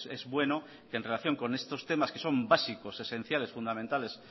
es bueno que en relación con estos temas que son básicos esenciales fundamentales